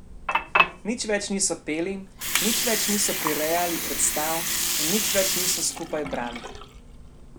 Nič več niso peli, nič več niso prirejali predstav in nič več niso skupaj brali.